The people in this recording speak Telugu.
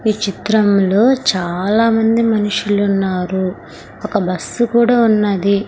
ఈ చిత్రంలో చాలామంది మనుషులు ఉన్నారు ఒక బస్సు కూడా ఉన్నది.